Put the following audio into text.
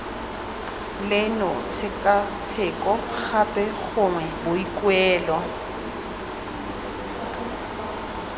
leno tshekatsheko gape gongwe boikuelo